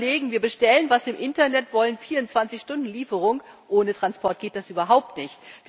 Wenn wir überlegen, wir bestellen was im Internet, wollen 24 Stunden Lieferung ohne Transport geht das überhaupt nicht!